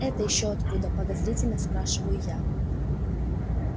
это ещё откуда подозрительно спрашиваю я